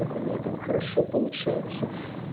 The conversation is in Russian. так у меня там хорошо получается